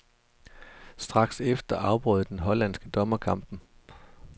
Straks efter afbrød den hollandske dommer kampen.